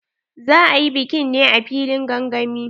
Za a yi bikin ne a filin gangami.